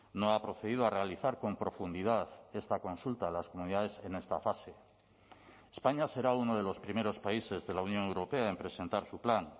no ha procedido a realizar con profundidad esta consulta a las comunidades en esta fase españa será uno de los primeros países de la unión europea en presentar su plan